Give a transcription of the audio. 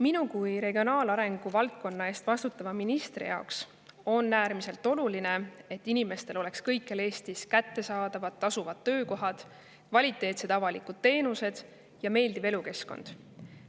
" Minu kui regionaalarengu valdkonna eest vastutava ministri jaoks on äärmiselt oluline, et inimestel oleks kõikjal Eestis kättesaadavad tasuvad töökohad, kvaliteetsed avalikud teenused ja meeldiv elukeskkond.